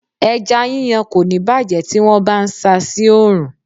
Ẹja yíyan kò ní bàjé tí wón bá ń sa sí oòrùn.